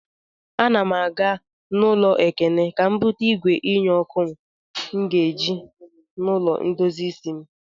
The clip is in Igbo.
Ana m aga n'ụlọ Ekene ka m bute igwe nye ọkụ m ga-eji n'ụlọ ndozi isi m.